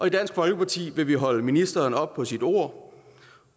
i dansk folkeparti vil vi holde ministeren op på sit ord